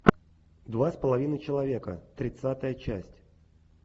два с половиной человека тридцатая часть